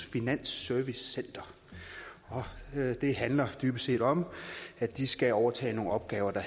finansservicecenter og det handler dybest set om at de skal overtage nogle opgaver der